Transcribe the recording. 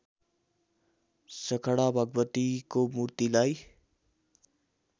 सखडा भगवतीको मूर्तिलाई